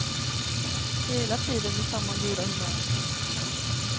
Hela tiden med samma goda humör.